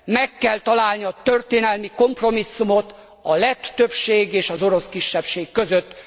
Meg kell találni a történelmi kompromisszumot a lett többség és az orosz kisebbség között!